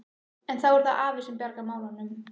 En þá er það afi sem bjargar málunum.